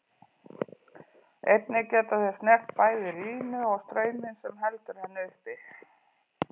Einnig geta þeir snert bæði línu og staurinn sem heldur henni uppi.